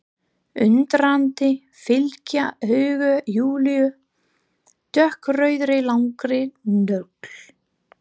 Undrandi fylgja augu Júlíu dökkrauðri langri nögl.